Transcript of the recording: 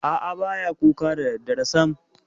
A'a, ba ya kuka da daddare sam.